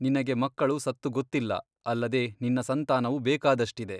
ನಿನಗೆ ಮಕ್ಕಳು ಸತ್ತು ಗೊತ್ತಿಲ್ಲ ಅಲ್ಲದೆ ನಿನ್ನ ಸಂತಾನವು ಬೇಕಾದಷ್ಟಿದೆ.